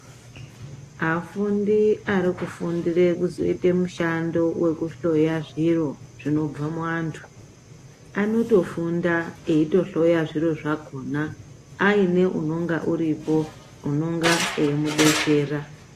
Afundi arikufundura kuzoita mushando wekuhloya zviro zvinobva muvantu anotofunda eihloya zviro zvakona aine unonga uripo unonga eimudetsera.